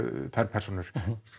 persónur